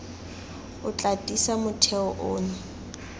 o tla tiisa motheo ono